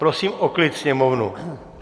Prosím o klid Sněmovnu.